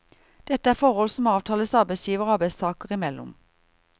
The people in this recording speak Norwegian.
Dette er forhold som avtales arbeidsgiver og arbeidstaker imellom.